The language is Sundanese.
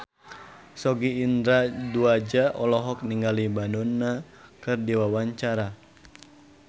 Sogi Indra Duaja olohok ningali Madonna keur diwawancara